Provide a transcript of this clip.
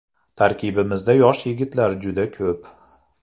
Tarkibimizda yosh yigitlar juda ko‘p.